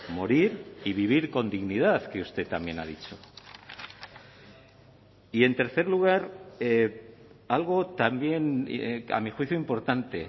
morir y vivir con dignidad que usted también ha dicho y en tercer lugar algo también a mi juicio importante